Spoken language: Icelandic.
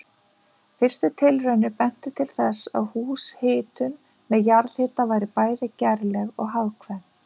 Fyrstu tilraunir bentu til þess að húshitun með jarðhita væri bæði gerleg og hagkvæm.